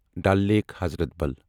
Dal lake حضرت بل